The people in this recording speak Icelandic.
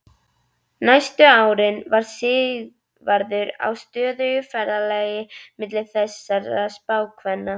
Næstu árin var Sigvarður á stöðugu ferðalagi milli þessara spákvenna.